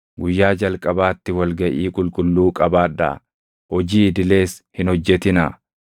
Guyyaa jalqabaatti wal gaʼii qulqulluu qabaadhaa; hojii idilees hin hojjetinaa.